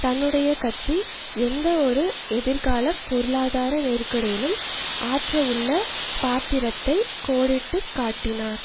தன்னுடைய கட்சி எந்தவொரு எதிர்காலப் பொருளாதார நெருக்கடியிலும் ஆற்றவுள்ள பாத்திரத்தை கோடிட்டு காட்டினார்